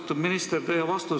Austatud minister!